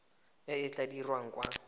e e tla dirwang kwa